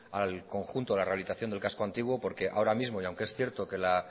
al conjunto de la rehabilitación del casco antiguo porque ahora mismo y aunque es cierto que la